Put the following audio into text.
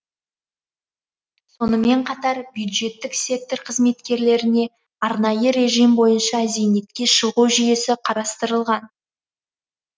сонымен қатар бюджеттік сектор қызметкерлеріне арнайы режим бойынша зейнетке шығу жүйесі қарастырылған